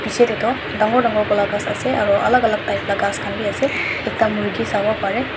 piche te toh dagor dagor ghass ase aru alak alak type la ghass khan bi ase ekta murgi sawo pare.